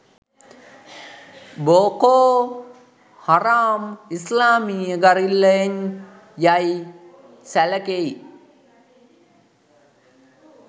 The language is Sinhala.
බෝකෝ හරාම් ඉස්ලාමීය ගරිල්ලන් යයි සැලකෙයි